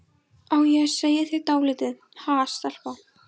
Á ég að segja þér dálítið, ha, stelpa?